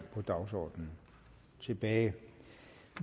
på dagsordenen tilbage